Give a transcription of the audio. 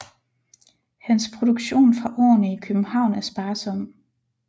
Hans produktion fra årene i København er sparsom